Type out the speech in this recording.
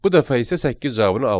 Bu dəfə isə səkkiz cavabını alırıq.